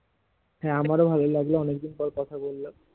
হ্যাঁ আমার ভালো লাগলো অনেক দিন পর কথা বললাম